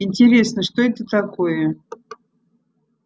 интересно что это такое